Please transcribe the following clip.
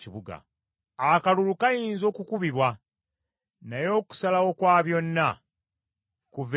Akalulu kayinza okukubibwa, naye okusalawo kwa byonna kuva eri Mukama .